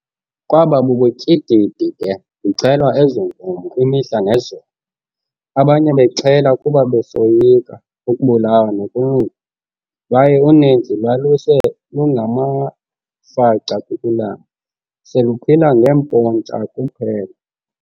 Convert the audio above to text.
Kwaba bubutyididi ke kuxhelwa ezo nkomo imihla nezolo, abanye bexhela kuba besoyika ukubulawa nokunukwa, lwaye uninzi lwaluse lungamafaca kukulamba, seluphila ngee"mpontsha" kuphela.